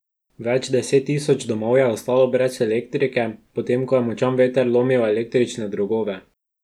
Več deset tisoč domov je ostalo brez elektrike, potem ko je močan veter lomil električne drogove.